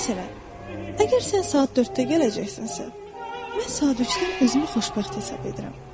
Məsələn, əgər sən saat dörddə gələcəksənsə, mən saat üçdən özümü xoşbəxt hesab edirəm.